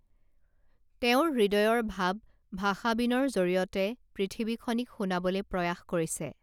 তেওঁৰ হৃদয়ৰ ভাৱ ভাষা বীণৰ জৰিয়তে পৃথিৱীখনিক শুনাবলে প্ৰয়াস কৰিছে